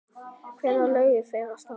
Hvenær lögðu þeir af stað?